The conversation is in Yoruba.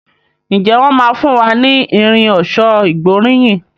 Njé wón má fún wá ní Irin ọ̀ṣọ́ ìgbóríyìn?